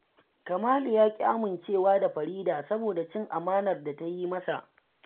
Kamalu ya ƙi amincewa da Farida saboda cin amanar da ta yi masa